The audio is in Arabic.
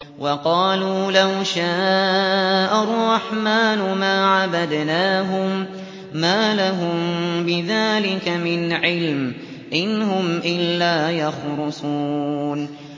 وَقَالُوا لَوْ شَاءَ الرَّحْمَٰنُ مَا عَبَدْنَاهُم ۗ مَّا لَهُم بِذَٰلِكَ مِنْ عِلْمٍ ۖ إِنْ هُمْ إِلَّا يَخْرُصُونَ